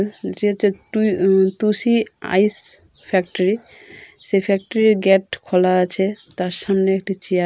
যেটা টু উমম টু-টুসি আইস ফ্যাক্টরি সে ফেক্টরি ইর গেট খোলা আছে তার সামনে একটি চেয়ার ।